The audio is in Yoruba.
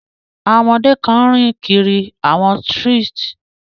Àwọn ọmọdé kan ń rìn kiri àwọn strees.